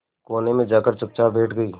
कोने में जाकर चुपचाप बैठ गई